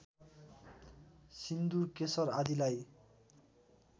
सिन्दूर केशर आदिलाई